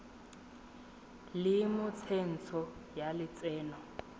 le mo tsentsho ya lotseno